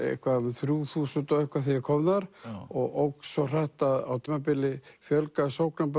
þrjú þúsund og eitthvað þegar ég kom þar og óx svo hratt að á tímabili fjölgaði